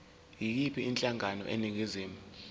yiyiphi inhlangano eningizimu